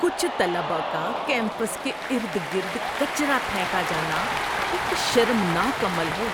کچھ طلبہ کا کیمپس کے ارد گرد کچرا پھینکا جانا ایک شرمناک عمل ہے۔